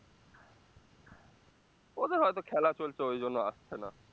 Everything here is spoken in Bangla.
ওদের হয়তো খেলা চলছে ঐজন্য আসছে না